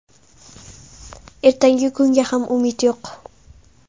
Ertangi kunga ham umid yo‘q.